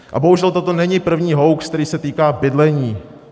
A bohužel toto není první hoax, který se týká bydlení.